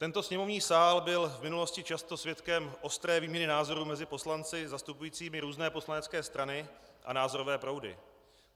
Tento sněmovní sál byl v minulosti často svědkem ostré výměny názorů mezi poslanci zastupujícími různé poslanecké strany a názorové proudy.